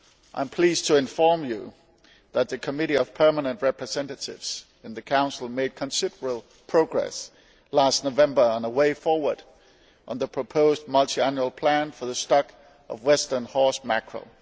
I am pleased to inform you that the Committee of Permanent Representatives in the Council made considerable progress last November on a way forward on the proposed multiannual plan for the stock of western horse mackerel.